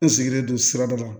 N sigilen don sirada la